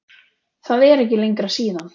Það er ekki lengra síðan!